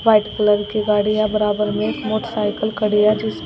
white colour की गाड़ियां बराबर में एक मोटरसाइकिल खड़ी है जिस --